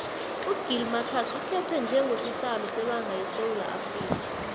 ugill marcus ukhetwe njengo sihlalo sebanga yesewula afrika